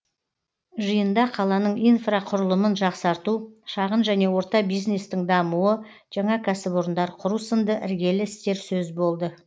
жиында қаланың инфрақұрылымын жақсарту шағын және орта бизнестің дамуы жаңа кәсіпорындар құру сынды іргелі істер сөз болды